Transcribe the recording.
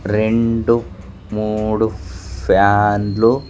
రెండు మూడు ఫ్యాన్ లు .